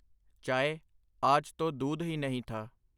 ਚਾਏ, ਆਜ ਤੋ ਦੂਧ ਹੀ ਨਹੀਂ ਥਾ .